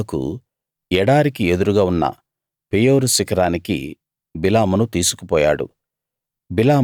బాలాకు ఎడారికి ఎదురుగా ఉన్న పెయోరు శిఖరానికి బిలామును తీసుకు పోయాడు